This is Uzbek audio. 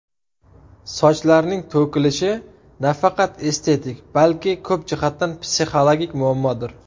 Sochlarning to‘kilishi nafaqat estetik, balki ko‘p jihatdan psixologik muammodir.